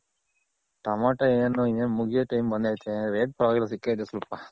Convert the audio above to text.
Tomato ಏನ್ ಇನ್ನೇನ್ ಮುಗಿಯೋ time ಬಂದೈಯ್ತೆ Rate ಪರವಾಗಿಲ್ಲ ಸಿಕ್ಕಯ್ತೆ ಸ್ವಲ್ಪ.